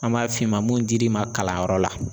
An b'a f'i ma mun dir'i ma kalanyɔrɔ la